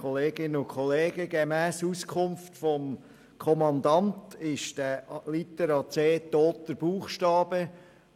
Gemäss Auskunft des Kommandanten ist Litera c toter Buchstabe.